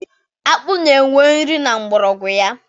Akpụ na enwe nri na mgbọrọgwụ ya